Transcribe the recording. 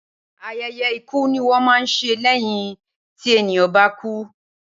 Ayẹyẹ ikú ni wón ń ṣe lẹ́yìn tí ènìyàn bá kú